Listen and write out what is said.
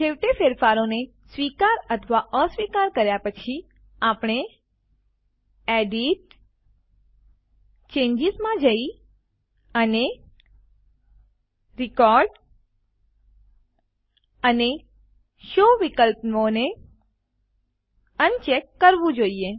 છેવટે ફેરફારોને સ્વીકાર અથવા અસ્વીકાર કર્યા પછી આપણે એડિટ જીટીજીટી ચેન્જીસ માં જઈ અને રેકોર્ડ અને શો વિકલ્પોને અનચેક કરવું જોઈએ